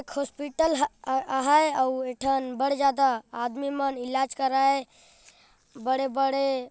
एक हॉस्पिटल ह-आहाय अउ ऐठन बढ़-ज्यादा आदमी मन इलाज कराये बड़े बड़े--